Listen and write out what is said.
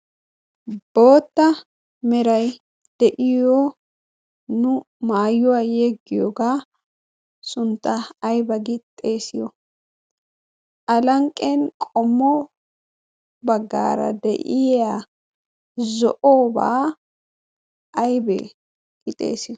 Bootta meray de'iyo nu maayuwaa yeeggiyoogaa suntta ayba gi xeesiyo? alanqqen qommo baggaara de'iya zo'obaa aybee gi xeesiyo?